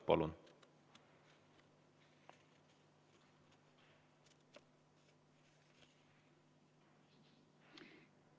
Palun!